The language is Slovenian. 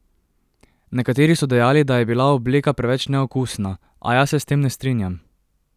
Nekateri so dejali, da je bila obleka preveč neokusna, a jaz se s tem ne strinjam.